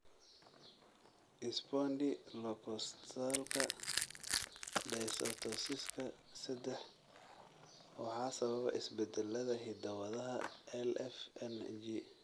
Spondylocostalka dysostosiska sedex waxaa sababa isbeddellada hidda-wadaha LFNG.